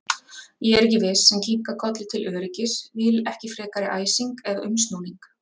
Ég er ekki viss, en kinka kolli til öryggis, vil ekki frekari æsing eða umsnúning.